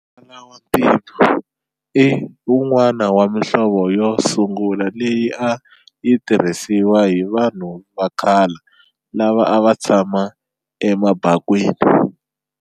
Muvala wantima i wun'wana wa mihlovo yo sungula leyi a yitirhisiwa hi vanhu vakhala lava ava tshama emabakwini.